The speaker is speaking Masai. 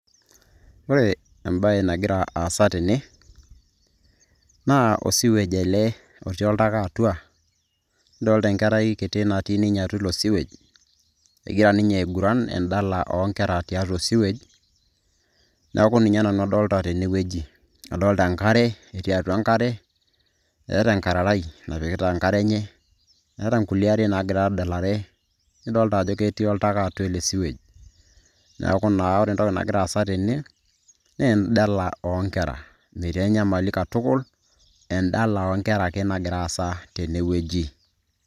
Ore embaye nagira aasa tene naa osewage ele otii oltaka atua, nidoolta enkare kiti natii ninye atua ilo sewage egira ninye aiguran endala o nkera tiatua osewage. Neeku ninye nanu adolta tene wueji adolta enkare etii atua enkare, eeta enkararai napikita enkare enye, eeta nkulie ariak naaagira adalare, nidoolta ajo ketii oltaka atua ele sewage. Neeku naa ore entoki nagira aasa tene wueji naa endala o nkera metii ai nyamali katukul endala o nkera ake nagira aasa tene wueji.